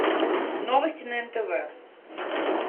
новости на нтв